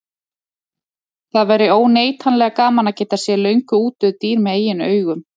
Það væri óneitanlega gaman að geta séð löngu útdauð dýr með eigin augum.